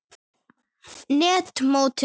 net mótinu?